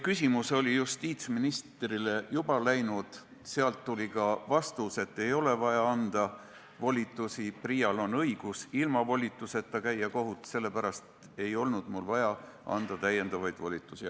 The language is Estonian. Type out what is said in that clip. Küsimus oli justiitsministrile juba saadetud ja sealt tuli ka vastus, et ei ole vaja anda volitusi, PRIA-l on õigus ilma volituseta kohut käia, sellepärast ei olnud mul vaja anda lisavolitusi.